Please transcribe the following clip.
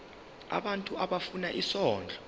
abantu abafuna isondlo